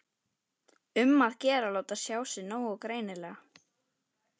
Um að gera að láta sjá sig nógu greinilega!